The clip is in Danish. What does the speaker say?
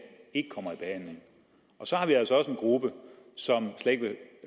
ikke kommer i behandling og så har vi altså også en gruppe som slet ikke vil